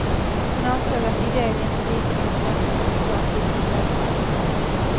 Hon ansåg att iden inte riktigt räckte för två timmars speltid.